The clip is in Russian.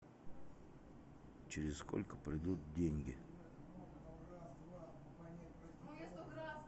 через сколько придут деньги